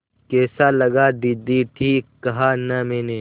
कैसा लगा दीदी ठीक कहा न मैंने